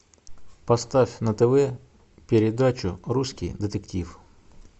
поставь на тв передачу русский детектив